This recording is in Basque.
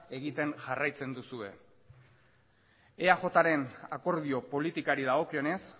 egiten jarraitzen duzue eajren akordio politikari dagokionez